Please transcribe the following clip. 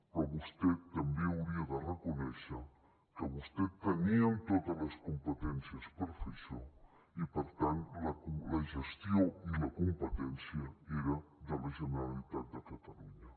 però vostè també hauria de reconèixer que vostès tenien totes les competències per fer això i per tant la gestió i la competència eren de la generalitat de catalunya